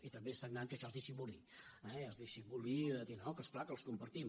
i també és sagnant que això es dissimuli eh es dissimuli dient oh és clar que els compartim